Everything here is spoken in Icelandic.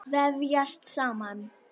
Vefjast saman.